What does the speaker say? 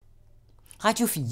Radio 4